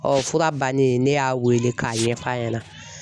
fura bannen ne y'a wele k'a ɲɛf'a ɲɛna.